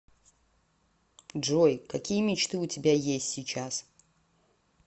джой какие мечты у тебя есть сейчас